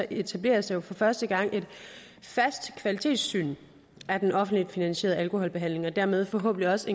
etableres der for første gang et fast kvalitetssyn af den offentligt finansierede alkoholbehandling og dermed forhåbentlig også